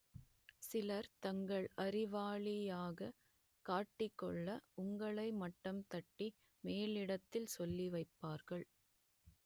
சிலர் தங்களை அறிவாளியாக காட்டிக் கொள்ள உங்களை மட்டம் தட்டி மேலிடத்தில் சொல்லி வைப்பார்கள்